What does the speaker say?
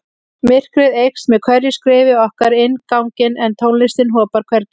Myrkrið eykst með hverju skrefi okkar inn ganginn en tónlistin hopar hvergi.